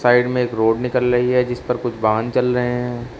Side में एक road निकल रही है जिस पर कुछ वाहन चल रहे हैं।